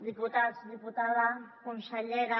diputats diputades consellera